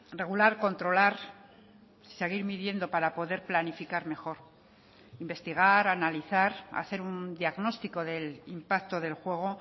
regular controlar seguir midiendo para poder planificar mejor investigar analizar hacer un diagnóstico del impacto del juego